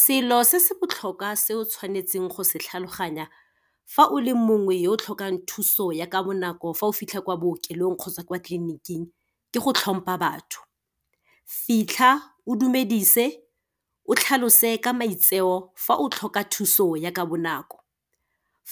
Selo se se botlhokwa se o tshwanetseng go se tlhaloganya, fa o le mongwe yo o tlhokang thuso ya ka bonako fa o fitlha kwa bookelong kgotsa kwa tleliniking, ke go tlhompha batho. Fitlha o dumedise, o tlhalose ka maitseo fa o tlhoka thuso ya ka bonako.